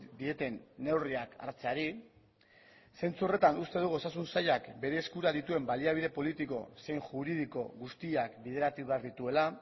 dieten neurriak hartzeari zentzu horretan uste dugu osasun sailak bere eskura dituen baliabide politiko zein juridiko guztiak bideratu behar dituela